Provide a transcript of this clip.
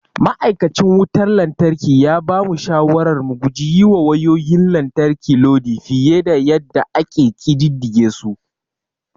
Ma'aikacin wutar lantarki ya bamu shawarar mu guji yiwa wayayoyin lantarki lodi fiye da yadda ake ƙididdige su.